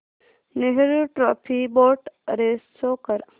Nehru trophy boat race show कर